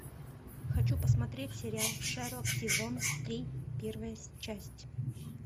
хочу посмотреть сериал шерлок сезон три первая часть